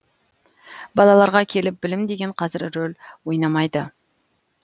балаларға келіп білім деген қазір рөл ойнамайды